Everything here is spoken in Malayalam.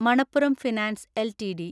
Manappuram finance LTD